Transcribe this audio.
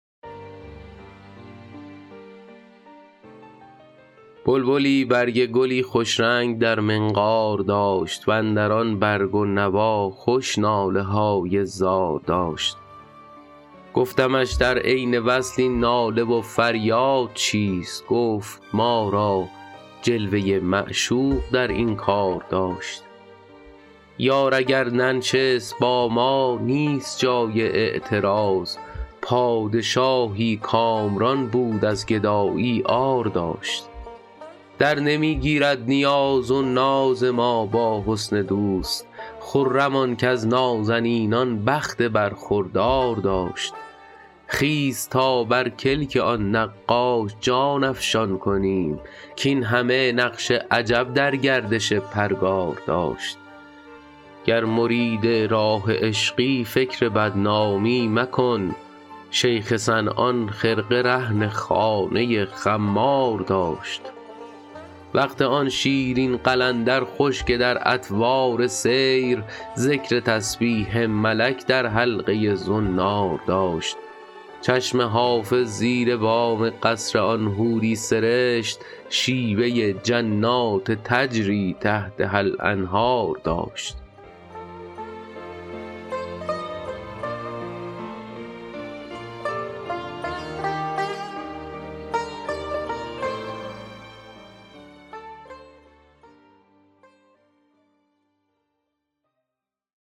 بلبلی برگ گلی خوش رنگ در منقار داشت و اندر آن برگ و نوا خوش ناله های زار داشت گفتمش در عین وصل این ناله و فریاد چیست گفت ما را جلوه ی معشوق در این کار داشت یار اگر ننشست با ما نیست جای اعتراض پادشاهی کامران بود از گدایی عار داشت درنمی گیرد نیاز و ناز ما با حسن دوست خرم آن کز نازنینان بخت برخوردار داشت خیز تا بر کلک آن نقاش جان افشان کنیم کاین همه نقش عجب در گردش پرگار داشت گر مرید راه عشقی فکر بدنامی مکن شیخ صنعان خرقه رهن خانه خمار داشت وقت آن شیرین قلندر خوش که در اطوار سیر ذکر تسبیح ملک در حلقه ی زنار داشت چشم حافظ زیر بام قصر آن حوری سرشت شیوه ی جنات تجری تحتها الانهار داشت